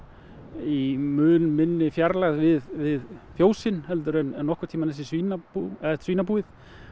í mun minni fjarlægð við við fjósin en nokkurn tímann svínabúið svínabúið